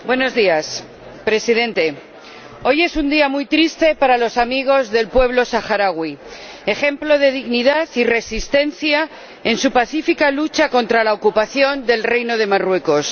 Señor Presidente, hoy es un día muy triste para los amigos del pueblo saharaui, ejemplo de dignidad y resistencia en su pacífica lucha contra la ocupación del Reino de Marruecos.